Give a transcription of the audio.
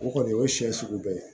O kɔni o ye siɲɛ sugu bɛɛ ye